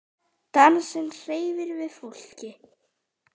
Dansinn hreyfir við fólki.